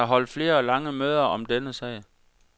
Vi har holdt flere og lange møder om denne sag.